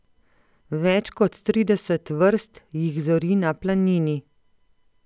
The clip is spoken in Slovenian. Več kot trideset vrst jih zori na Planini.